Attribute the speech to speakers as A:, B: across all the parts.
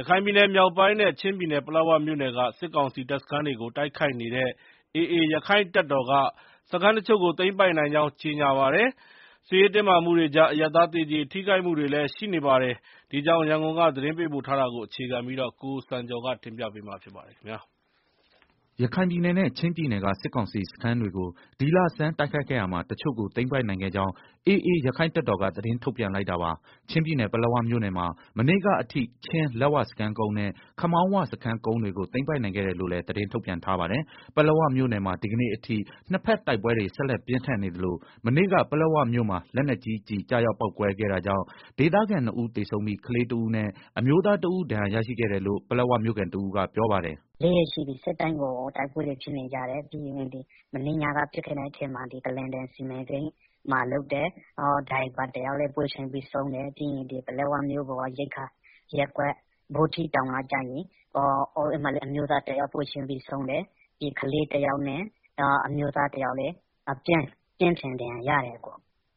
A: ရခိုင်ပြည်နယ်မြောက်ပိုင်းနဲ့ ချင်းပြည်နယ် ပလက်ဝမြို့နယ်က စစ်ကောင်စီ တပ်စခန်းတွေကို တိုက်ခိုက်နေတဲ့ AA ရက္ခိုင့်တပ်တော်က စခန်းတချို့ကို သိမ်းပိုက်နိုင်ကြောင်း ကြေညာပါတယ်။ စစ်ရေးတင်းမာမှုတွေကြား အရပ်သား သေကျေထိခိုက်မှုတွေလည်း ရှိနေတာပါ။ ဒီအကြောင်း ရန်ကုန်ကသတင်းပေးပို့ ထားတာကို အခြေခံပြီး ကိုစံကျော် တင်ပြထားပါတယ်။
B: ရခိုင်ပြည်နယ်နဲ့ ချင်းပြည်နယ်က စစ်ကောင်စီစခန်းတွေကို ဒီလဆန်းတိုက်ခိုက်ခဲ့ရာမှာ တချို့ကို သိမ်းပိုက်နိုင်ခဲ့ကြောင်း AAရက္ခိုင့် တပ်တော်က သတင်းထုတ်ပြန်လိုက်တာပါ။ ချင်းပြည်နယ်ပလက်ဝမြို့နယ်မှာ မနေ့ကအထိ ချင်းလက်ဝစခန်းကုန်းနဲ့ ခမောင်းဝစခန်းကုန်းတွေကို သိမ်းပိုက်နိုင်ခဲ့တယ်လို့လည်း သတင်းထုတ်ပြန်ထားပါတယ်။ ပလက်ဝမြို့နယ်မှာ ဒီကနေ့အထိနှစ်ဖက်တိုက်ပွဲတွေ ဆက်လက်ပြင်းထန်နေသလို မနေ့က ပလက်ဝမြို့မှာ လက်နက်ကြီးကျည်ကျရောက်ပေါက်ကွဲခဲ့တာကြောင့် ဒေသခံ နှစ်ဦးသေဆုံးပြီး ကလေးတဦးနဲ့ အမျိုးသားတဦးဒဏ်ရာရတယ်လို့ ပလက်ဝမြို့ခံတဦးကပြောပါတယ်။
C: “၄ ရက်ရှိပြီနေ့တိုင်းကို တိုက်ပွဲတွေ ဖြစ်နေကြတယ်၊ မနေ့ညက ပစ်ခတ်လိုက်တဲ့ ထဲမှာဒီ ကလားတန်စီမံကိန်းမှာ လုပ်တဲ့ ကားမောင်းသမားတယောက်လည်း ပွဲချင်းပြီးသေသွားတယ်၊ ပြီးတော့ ပလက်ဝ မြို့ပေါ်က ရိက္ခာရပ်ကွက် ဗောဓိတောင်မှာလည်း မျိုးသားတယောက် ပွဲချင်းပြီးဆုံးတယ်၊ နောက် ကလေးတယောက်နဲ့ အမျိုးသားတယောက်လည်း ပြင်းထန်ဒဏ်ရာရတယ်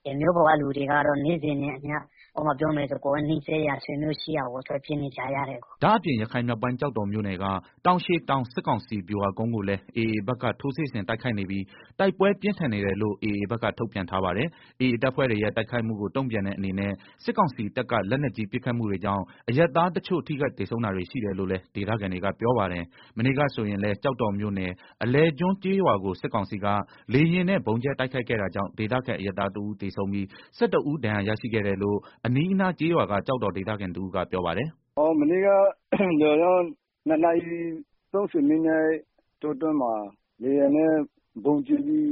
C: ၊ မြို့ပေါ်က လူတွေကတော့ နေ့စဉ်နဲ့ အမျှ နီးစပ်ရာဆွေမျိုးတွေဆီကို ထွက်ပြေးနေကြရတယ်
B: ။” ဒါ့အပြင် ရခိုင်မြောက်ပိုင်း ကျောက်တော်မြို့နယ်က တောင်ရှည်တောင် စစ်ကောင်စီဗျူ ဟာကုန်းကိုလည်းAAဘက်က ထိုးစစ်ဆင်တိုက်ခိုက်နေပြီး တိုက်ပွဲပြင်းထန်နေတယ်လို့ AAဘက်က ထုတ်ပြန်ထားပါတယ်။ AA တပ်ဖွဲ့တွေရဲ့ တိုက်ခိုက်မှုကို တုံ့ပြန်တဲ့ အနေနဲ့ စစ်ကောင်စီတပ်က လက်ကြီးပစ်ခတ်မှုတွေကြောင့် အရပ်သားတချို့ ထိခိုက်သေဆုံးတာတွေ ရှိတယ်လို့လည်း ဒေသခံတွေက ပြောပါတယ်။ မနေ့ကဆိုရင်လည်း ကျောက်တော်မြို့နယ် အလယ်ကျွန်းကျေးရွာကို စစ်ကောင်စီက လေယာဉ်နဲ့ ဗုံးကြဲ တိုက်ခိုက်ခဲ့တာကြောင့် ဒေသခံ အရပ်သားတဦးသေဆုံးပြီး ၁၁ဦးဒဏ်ရာရရှိခဲ့တယ်လို့ အနီးအနားကျေးရွာက ကျောက်တော်ဒေသခံ တဦးကပြောပါတယ်
A: ။ “ မနေ့က ၂နာရီ ၃ဝမိနစ်လောက်မှာ လေယာဉ်နဲ့ ဗုံးကျဲလို့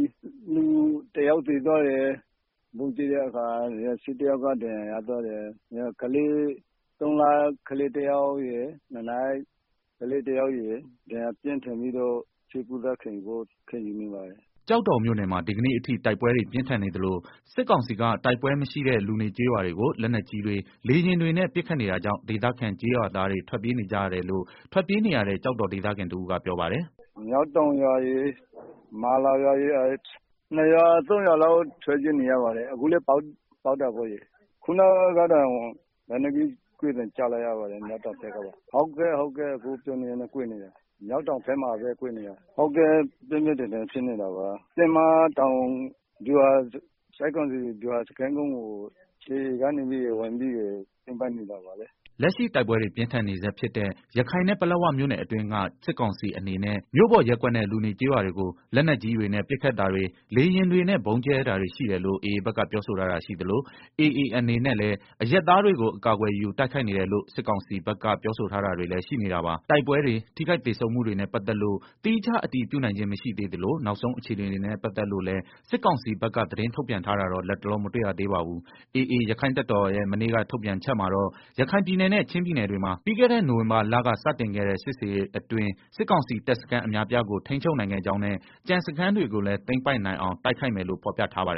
A: လူယောက်သေသွားတယ် ၁၁ယောက်ဒဏ်ရာရတယ်၊ သုံးလကလေးတယောက်နဲ့ ၂နှစ်ကလေးတယောက် ပြင်းပြင်းထန်ထန်ဒဏ်ရာရလို့ ဆေးကုသနေရတယ်
B: ။” ကျောက်တော်မြို့နယ်မှာ ဒီကနေ့အထိ တိုက်ပွဲတွေပြင်းထန်နေသလို စစ်ကောင်စီက တိုက်ပွဲမရှိတဲ့ လူနေကျေးရွာတွေကို လက်နက်ကြီးတွေ လေယာဉ်တွေနဲ့ ပစ်ခတ်နေတာကြောင့် ဒေသခံ ကျေးရွာသားတွေ ထွက်ပြေးနေကြရတယ်လို့ ထွက်ပြေးနေရတဲ့ ကျောက်တော်ဒေသခံတဦးကပြောပါတယ်
A: ။ “ မျောက်တောင်ရွာရယ် မာလာရွာရယ်၊ ၂ရွာ ၃ရွာလောက်ထွက်ပြေးနေရပါတယ်၊အခုလည်း ပစ်နေတယ်၊ လက်နက်ကြီးကွဲသံကြားနေရတယ်၊ မျောက်တောင်ပစ်နေတာ၊ ပြင်းပြင်းထန်ထန်ဖြစ်နေတာ တင်းမတောင် ဗျူးဟာကုန်းကို AAက တက်သိမ်းနေတာလေ။
B: ” လက်ရှိတိုက်ပွဲတွေ ပြင်းထန်နေဆဲဖြစ်တဲ့ ရခိုင်နဲ့ ပလက်ဝမြို့နယ်အတွင်းက စစ်ကောင်စီအနေနဲ့မြို့ပေါ်ရပ်ကွက်နဲ့ လူနေကျေးရွာတွေ လက်နက်ကြီးတွေနဲ့ ပစ်ခတ်တာတွေ လေယာဉ်တွေနဲ့ ဗုံးကြဲတာတွေရှိတယ်လို့ AAဘက်ကပြောဆိုထား တာရှိသလို AAအနေနဲ့ လည်း အရပ်သားတွေကို အကာကွယ်ယူတိုက်ခိုက်နေတယ်လို့ စစ်ကောင်စီဘက် ပြောဆိုထားတာတွေလည်းရှိနေတာပါ။ တိုက်ပွဲဖြစ်တွေ၊ ထိခိုက်သေဆုံးမှုတွေနဲ့ ပတ်သက်လို့ သီးခြားအတည်ပြုနိုင်ခြင်း မရှိသေးသလို နောက်ဆုံးအခြေအနေတွေနဲ့ ပတ်သက်လို့လည်း စစ်ကောင်စီက သတင်းထုတ်ပြန်တာတော့ လတ်တလော မတွေ့ရသေးပါဘူး။ AA ရက္ခိုင့်တပ်တော်ရဲ့ မနေ့က ထုတ်ပြန်ချက်မှာတော့ ရခိုင်ပြည်နယ်နဲ့ ချင်းပြည်နယ်တွေမှာ ပြီးခဲ့တဲ့ နိုဝင်ဘာလက စတင်ခဲ့တဲ့ စစ်ဆင်ရေးအတွင်း စစ်ကောင်စီတပ်စခန်း အများအပြားကို ထိန်းချုပ်နိုင်ခဲ့ကြောင်းနဲ့ ကျန်စခန်းတွေကိုလည်း သိမ်းပိုက်နိုင်အောင် တိုက်ခိုက်မယ်လို့ ဖော်ပြထားပါတယ်